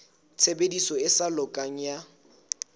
tshebediso e sa lokang ya